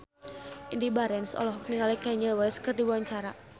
Indy Barens olohok ningali Kanye West keur diwawancara